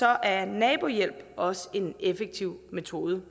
er nabohjælp også en effektiv metode